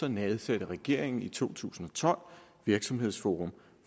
nedsatte regeringen i to tusind og tolv virksomhedsforum